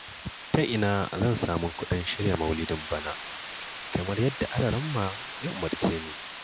Ta ina zan samu kuɗin shirya maulidin bana, kamar yadda Alaramma ya umarce ni?